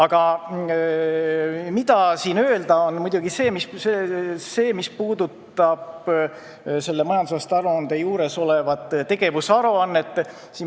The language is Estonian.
Aga tuleb rääkida muidugi sellest, mis puudutab majandusaasta aruande juures olevat tegevusaruannet.